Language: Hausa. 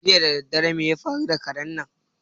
Jiya daddare mai ya faru da karen nan?